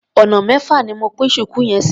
Ọ̀nà mẹ́fà ni mo pín ṣùkú yẹn sí.